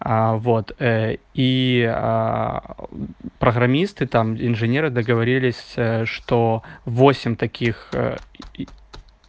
а вот и программисты там инженеры договорились что восемь таких и